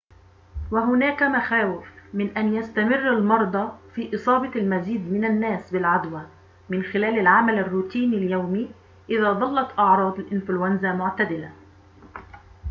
وهناك مخاوف من أن يستمر المرضى في إصابة المزيد من الناس بالعدوى من خلال العمل الروتيني اليومي إذا ظلت أعراض الإنفلونزا معتدلة